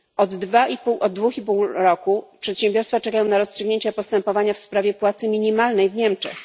Od dwóch i pół roku przedsiębiorstwa czekają na rozstrzygnięcie postępowania w sprawie płacy minimalnej w Niemczech.